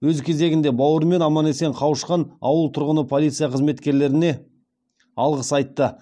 өз кезегінде бауырымен аман есен қауышқан ауыл тұрғыны полиция қызметкерлеріне алғыс айтты